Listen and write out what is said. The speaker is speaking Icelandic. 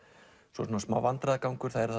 svo er smá vandræðagangur það eru